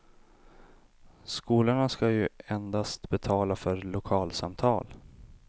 Skolorna skall ju endast betala för lokalsamtal.